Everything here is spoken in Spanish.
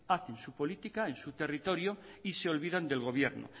hacen su política en su territorio y se olvidan del gobierno